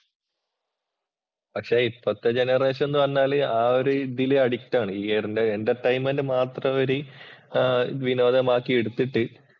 പക്ഷേ ഇപ്പത്തെ ജനറേഷൻ എന്ന് പറഞ്ഞാൽ ആ ഒരു രീതിയിൽ അഡിക്റ്റ് ആണ്. എന്‍റർടൈൻമെന്‍റ് മാത്രം അവര് വിനോദമാക്കി എടുത്തിട്ട്